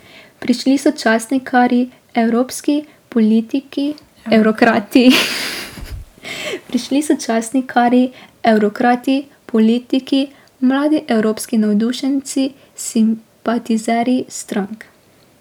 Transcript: Prišli so časnikarji, evrokrati, politiki, mladi evropski navdušenci, simpatizerji strank.